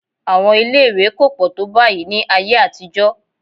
Àwọn ilé-ìwé kò pọ̀ tó báyìí ní ayé àtijọ́